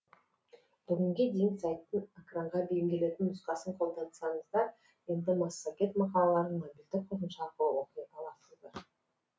бүгінге дейін сайттың экранға бейімделетін нұсқасын қолдансаңыздар енді массагет мақалаларын мобильді қосымша арқылы оқи аласыздар